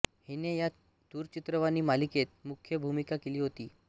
हिने या दूरचित्रवाणी मालिकेत मुख्य भूमिका केली होती